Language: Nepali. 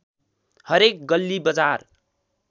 हरेक गल्ली बजार